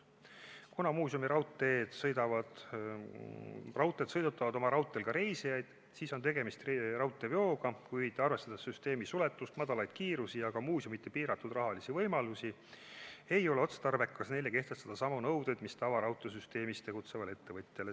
Kuna muuseumiraudteed sõidutavad oma raudteel ka reisijaid, siis on tegemist raudteeveoga, kuid arvestades süsteemi suletust, madalaid kiirusi ja ka muuseumide piiratud rahalisi võimalusi, ei ole otstarbekas neile kehtestada samu nõudeid, mis tavaraudteesüsteemis tegutsevale ettevõtjale.